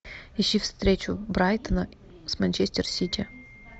ищи встречу брайтона с манчестер сити